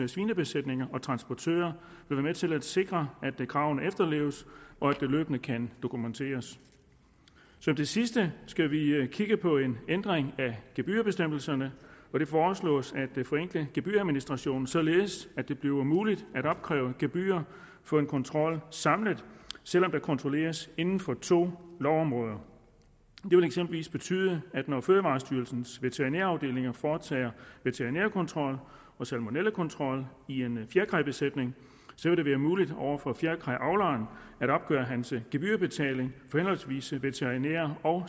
svinebesætninger og transportører er med til at sikre at kravene efterleves og at det løbende kan dokumenteres som det sidste skal vi kigge på en ændring af gebyrbestemmelserne det foreslås at forenkle gebyradministrationen således at det bliver muligt at opkræve gebyrer for en kontrol samlet selv om der kontrolleres inden for to lovområder det vil eksempelvis betyde at når fødevarestyrelsens veterinære afdelinger foretager veterinærkontrol og salmonellakontrol i en fjerkræbesætning vil det være muligt over for fjerkræavleren at opgøre gebyrbetaling for henholdsvis veterinær og